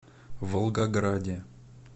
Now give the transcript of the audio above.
волгограде